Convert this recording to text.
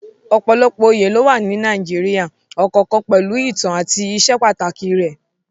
Ọ̀pọ̀lọpọ̀ oyè ló wà ní Nàìjíríà, ọ̀kọ̀ọ̀kan pẹ̀lú ìtàn àti ìsepàtàkì rẹ̀.